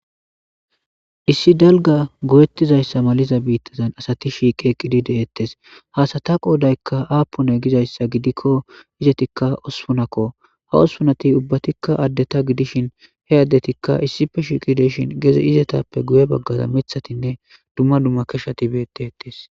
Issi dalgga goyetizayssa maliza biitazan asati shiiqi eqqidi de'etes. Ha asata qoodaykka appune gizayssa gidikko izettikka ospunakko. Ha ospunati ubbatikka addeta gidishin he addetikka issippe shiiqi de'ishin gede izetappe guye baggara miththatinne dumma dumma keshati beettetes.